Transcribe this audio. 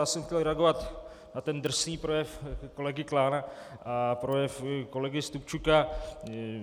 Já jsem chtěl reagovat na ten drsný projev kolegy Klána a projev kolegy Stupčuka.